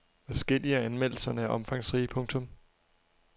Adskillige af anmeldelserne er omfangsrige. punktum